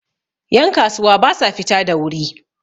yankasuwa ba sa fita da wuri